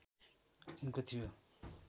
उनको थियो